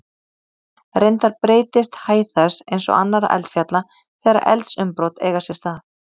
Reyndar breytist hæð þess, eins og annarra eldfjalla, þegar eldsumbrot eiga sér stað.